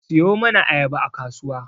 Siyo mana ayaba a kasuwa